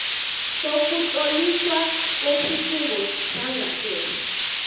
sokutloliswa kwesikhungo sangasese